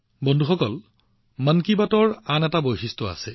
বন্ধুসকল মন কী বাতৰ আন এটা বিশেষত্ব আছে